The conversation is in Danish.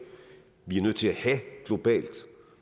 vi er nødt til at have globalt